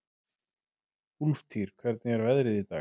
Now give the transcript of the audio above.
Úlftýr, hvernig er veðrið í dag?